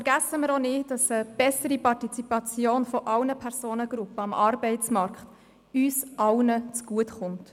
Vergessen wir auch nicht, dass eine bessere Partizipation aller Personengruppen am Arbeitsmarkt uns allen zugutekommt.